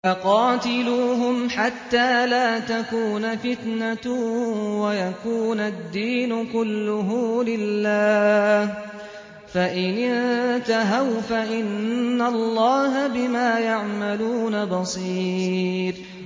وَقَاتِلُوهُمْ حَتَّىٰ لَا تَكُونَ فِتْنَةٌ وَيَكُونَ الدِّينُ كُلُّهُ لِلَّهِ ۚ فَإِنِ انتَهَوْا فَإِنَّ اللَّهَ بِمَا يَعْمَلُونَ بَصِيرٌ